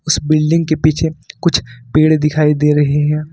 इस बिल्डिंग के पीछे कुछ पेड़ दिखाई दे रही हैं।